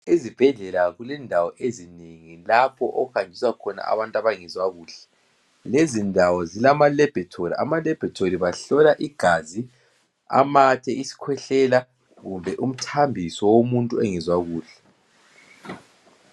Ezibhedlela kulendawo ezinengi lapho okuhanjiswa khona abantu abangezwa kuhle lezindawo zilama laboratory abaLaboratory bahlola igazi matshe isikhwehlela kumbe umthambiso womuntu ongezwakuhle.